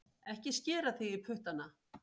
Ekki skera þig í puttana